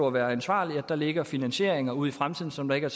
at være ansvarlig lægger finansieringer ud i fremtiden som der ikke er